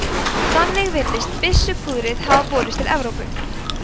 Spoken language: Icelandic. þannig virðist byssupúðrið hafa borist til evrópu